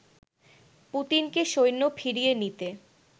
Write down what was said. পুতিনকে সৈন্য ফিরিয়ে নিতে